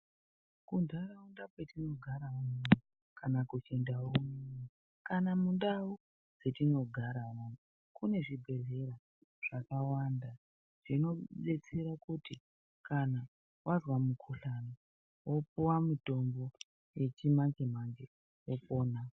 Muntharaunda mwetinogara mwoda, kana kuti ndawonyi, kana mundau mwetinogaramwo mune zvibhedhlera zvakawanda zvinodetsere kuti vanthu vazwa mukhuhlana vopuwa mutombo wechimanje-manje vopona.